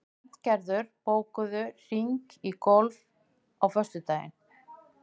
Bjarngerður, bókaðu hring í golf á föstudaginn.